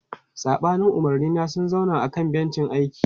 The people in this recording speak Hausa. Saɓanin umarnina, sun zauna a kan bencin aiki.